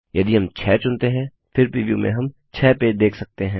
यदि हम 6 चुनते हैं फिर प्रीव्यू में हम दो पेज देख सकते हैं